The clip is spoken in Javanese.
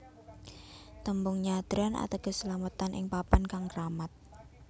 Tembung nyadran ateges slametan ing papan kang kramat